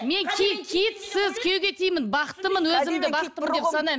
мен киітсіз күйеуге тидім бақыттымын өзімді бақыттымын деп санаймын